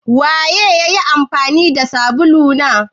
Waye ya yi amfani da sabulu na?